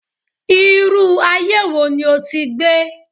Irú aye wo ni o ti gbé?